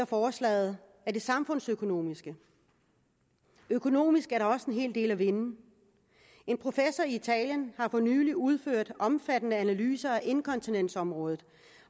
forslaget er det samfundsøkonomiske økonomisk er der også en hel del at vinde en professor i italien har for nylig udført omfattende analyser af inkontinensområdet